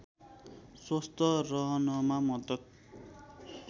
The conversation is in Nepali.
स्वस्थ रहनमा मद्दत